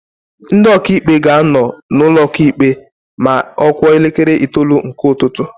Ndị Ọkaikpe ga-anọ na ụkọ ikpe ma ọ kụọ elekere itoolu nke ụtụtụ